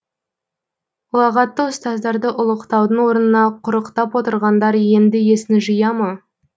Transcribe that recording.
ұлағатты ұстаздарды ұлықтаудың орнына құрықтап отырғандар енді есін жия ма